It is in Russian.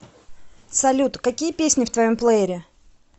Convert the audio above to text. салют какие песни в твоем плеере